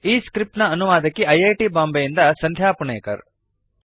ಈ ಸ್ಕ್ರಿಪ್ಟ್ ನ ಅನುವಾದಕಿ ಐ ಐ ಟಿ ಬಾಂಬೆಯಿಂದ ಸಂಧ್ಯಾ ಪುಣೇಕರ್